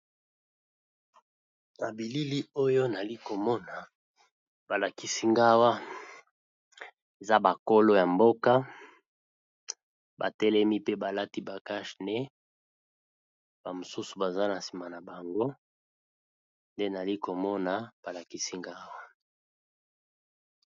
Na bilili oyo nali komona balakisi ngawa eza bakolo ya mboka batelemi pe balati bakage ne ba mosusu baza na nsima na bango nde nali komona balakisi ngawa.